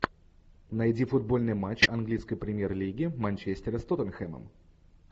найди футбольный матч английской премьер лиги манчестера с тоттенхэмом